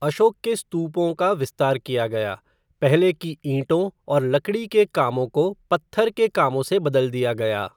अशोक के स्तूपों का विस्तार किया गया, पहले की ईंटों और लकड़ी के कामों को पत्थर के कामों से बदल दिया गया।